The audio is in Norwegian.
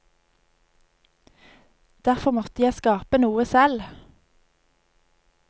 Derfor måtte jeg skape noe selv.